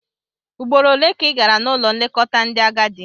Ugboro ole ka ị gara n'ụlọ nlekọta ndị agadi?